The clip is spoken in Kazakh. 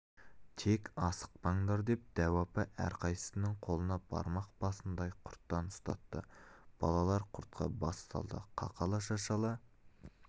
тек асықпандар деп дәу апа әрқайсысының қолына бармақ басындай құрттан ұстатты балалар құртқа бас салды қақала-шашала